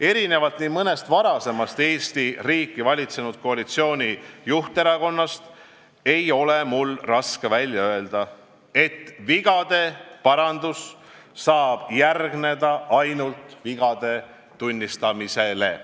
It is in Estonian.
" Erinevalt nii mõnestki varasemast Eesti riiki valitsenud koalitsiooni juhterakonnast ei ole mul raske välja öelda, et vigade parandus saab järgneda ainult vigade tunnistamisele.